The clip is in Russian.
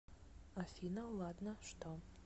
афина ладно что